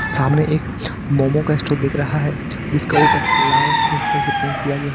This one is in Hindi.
सामने एक मोमो का स्टोर दिख रहा है जिसके ऊपर लाल हिस्से से पेंट किया गया है।